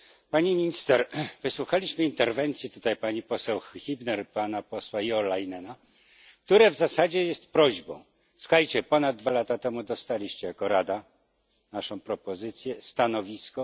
Pani Minister! Wysłuchaliśmy tutaj interwencji pani poseł Hübner i pana posła Jo Leinena, która w zasadzie jest prośbą słuchajcie, ponad dwa lata temu dostaliście jako Rada naszą propozycję, stanowisko.